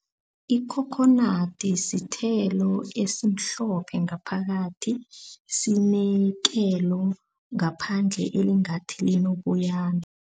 Ikhokhonadi sithelo esimhlophe ngaphakathi sinekelo ngaphandle elingathi linoboyana.